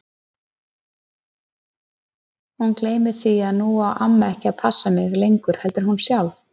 Hún gleymir því að nú á amma ekki að passa mig lengur heldur hún sjálf.